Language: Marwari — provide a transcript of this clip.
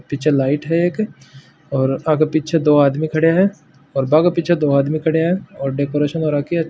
पीछे लाइट है एक और आगे पीछे दो आदमी खड़े है और बा के पीछे दो आदमी खड़े है और डेकोरेशन हो राखी है।